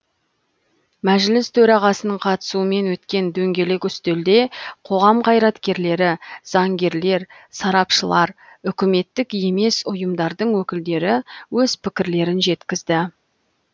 мәжіліс төрағасының қатысуымен өткен дөңгелек үстелде қоғам қайраткерлері заңгерлер сарапшылар үкіметтік емес ұйымдардың өкілдері өз пікірлерін жеткізді